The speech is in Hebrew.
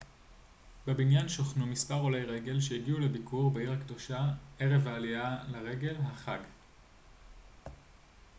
בבניין שוכנו מספר עולי רגל שהגיעו לביקור בעיר הקדושה ערב העלייה לרגל החאג'